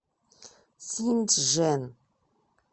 синьчжэн